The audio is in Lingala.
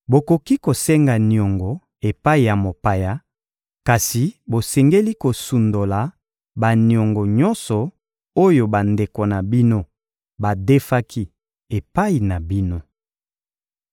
Bokoki kosenga niongo epai ya mopaya, kasi bosengeli kosundola baniongo nyonso oyo bandeko na bino badefaki epai na bino.